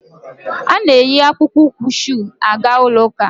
A na-eyi akpụkpọ ụkwụ shuu aga ụlọ ụka.